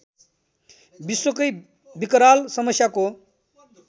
विश्वकै विकराल समस्याको